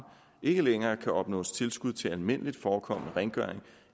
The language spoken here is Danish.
ikke længere kan opnås tilskud til almindeligt forekommende rengøring